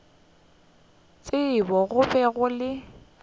tsebo go be go le